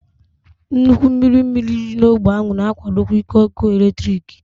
Nnukwu mmiri mmiri dị n'ógbè ahụ na-akwadokwa ike ọkụ eletrik.